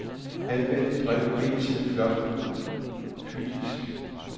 Anvend drev B til floppydisk.